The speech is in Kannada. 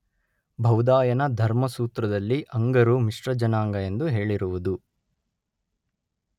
ಬೌಧಾಯನ ಧರ್ಮಸೂತ್ರದಲ್ಲಿ ಅಂಗರು ಮಿಶ್ರಜನಾಂಗ ಎಂದು ಹೇಳಿರುವುದು